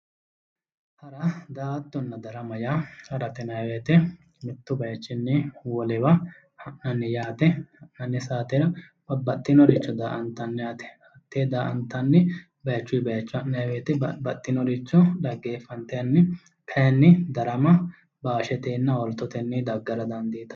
Hara, daa"attonna darama yaa ,harate yinnanni woyte mitu bayichini wolewa ha'nanni yaate, ha'nanni saatera babbaxinoricho daa"attanni yaate, hate daa"attanni bayichuyi bayicho ha'nanni woyte babbaxinoricho dhaggeeffattanni kayinni darama baashetenna olitetenni daggara dandiittano.